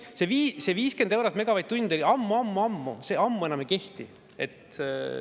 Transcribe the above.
See 50 eurot megavatt-tund oli ammu-ammu-ammu, see ammu enam ei kehti.